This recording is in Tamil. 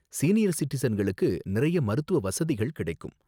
சீனியர் சிட்டிசன்களுக்கு நிறைய மருத்துவ வசதிகள் கிடைக்கும்.